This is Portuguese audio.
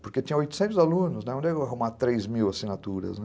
Porque tinha oitocentos alunos, né, onde eu ia arrumar três mil assinaturas, né.